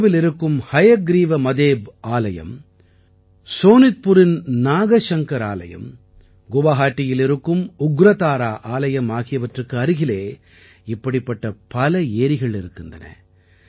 ஹஜோவில் இருக்கும் ஹயக்ரீவ மதேப் ஆலயம் சோனித்புரின் நாகசங்கர் ஆலயம் கவுஹாத்தியில் இருக்கும் உக்ரதாரா ஆலயம் ஆகியவற்றுக்கு அருகிலே இப்படிப்பட்ட பல ஏரிகள் இருக்கின்றன